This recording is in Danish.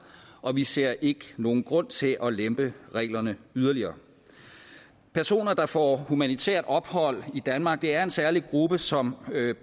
og vi ser ikke nogen grund til at lempe reglerne yderligere personer der får humanitært ophold i danmark er en særlig gruppe som